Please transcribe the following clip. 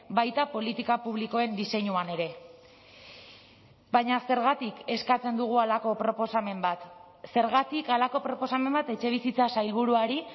baita politika publikoen diseinuan ere baina zergatik eskatzen dugu halako proposamen bat zergatik halako proposamen bat etxebizitza sailburuari